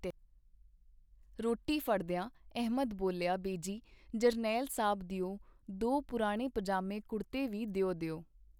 ਰੋਟੀ ਫੜਦੀਆਂ ਅਹਿਮਦ ਬੋਲਿਆ, ਬੇਜੀ ਜਰਨੈਲ ਸਾਬ ਦਿਓ ਦੋ ਪੁਰਾਣੇ ਪਜਾਮੇ ਕੁੜਤੇ ਵੀ ਦਿਓ ਦਿਓ.